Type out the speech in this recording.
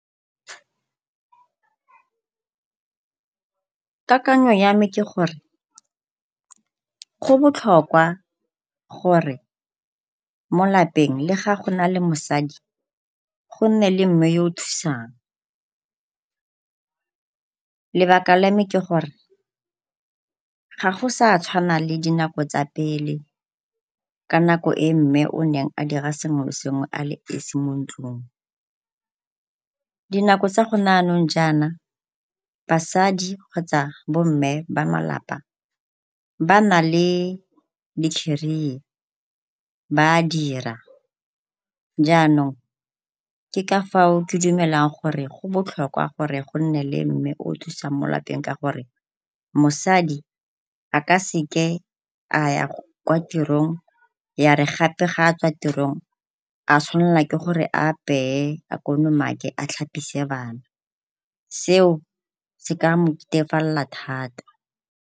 Kakanyo ya me ke gore go botlhokwa gore mo lapeng le ga go na le mosadi go nne le mme yo o thusang, lebaka la me ke gore ga go sa tshwana le dinako tsa pele ka nako e mme o neng a dira sengwe le sengwe a le esi mo ntlung. Dinako tsa go ne jaanong jaana basadi kgotsa bo mme ba malapa ba na le di-career ba a dira. Jaanong ke ka fao ke dumelang gore go botlhokwa gore go nne le mme o o thusang mo lapeng, ka gore mosadi a ka seke a ya kwa tirong ya re gape ga a tswa tirong a tshwanelwa ke gore a apeye, a kolomake, a tlhapise bana. Seo se ka moketefalela thata.